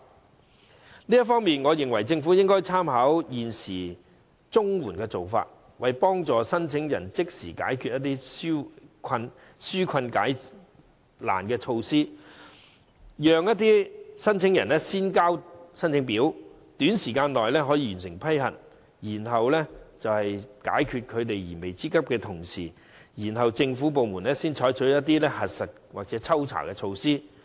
就這方面，我認為政府應參考現時綜援的做法，為申請人即時解難紓困，讓申請人可以先交申請表，短時間內可完成批核，既可解決他們燃眉之急，同時政府部門可採取核實或抽查的措施。